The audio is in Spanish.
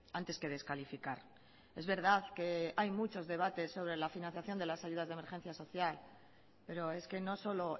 antes que descalificar es verdad que hay muchos debates sobre la financiación de las ayudas de emergencia social pero es que no solo